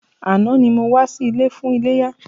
Àná ni mo wá sí ilé fún iléyá.